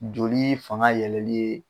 Joli fanga yɛlɛli ye